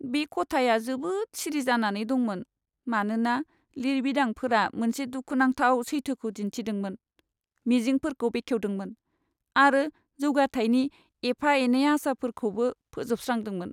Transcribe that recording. बे खथाया जोबोद सिरि जानानै दंमोन, मानोना लिरबिदांफोरा मोनसे दुखुनांथाव सैथोखौ दिन्थिदोंमोन, मिजिंफोरखौ बेखेवदोंमोन आरो जौगाथायनि एफा एनै आसाफोरखौबो फोजोबस्रांदोंमोन।